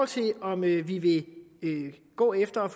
til om vi vi vil gå efter at